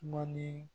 Ma ni